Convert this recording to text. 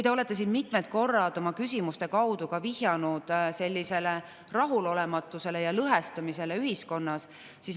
Te olete siin mitmel korral oma küsimuste kaudu vihjanud rahulolematusele ühiskonnas ja ühiskonna lõhestumisele.